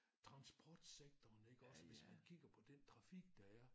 Transportsektoren iggås hvis man kigger på den trafik der er